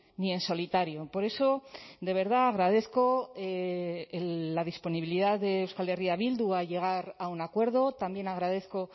ni en solitario por eso de verdad agradezco la disponibilidad de euskal herria bildu a llegar a un acuerdo también agradezco